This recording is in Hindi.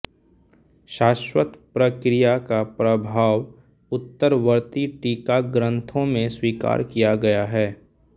सारस्वत प्रक्रिया का प्रभाव उत्तरवर्ती टीकाग्रंथों में स्वीकार किया गया है